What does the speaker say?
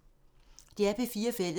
DR P4 Fælles